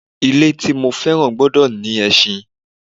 Ilẹ̀ tí mo fẹ́ràn gbọ́dọ̀ ní ẹṣin